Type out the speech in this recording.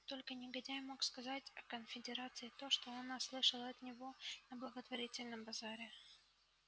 только негодяй мог сказать о конфедерации то что она слышала от него на благотворительном базаре